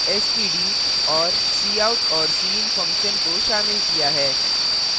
और cout और cin function को शामिल किया है